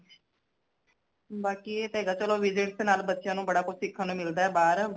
ਬਾਕੀ ਏ ਤੇ ਹੇਗਾ ਚਲੋ visits ਨਾਲ ਬੱਚਿਆਂ ਨੂ ਬੜਾ ਕੁਛ ਸਿੱਖਣ ਨੂ ਮਿਲਦਾ ਹੈ ਬਾਰ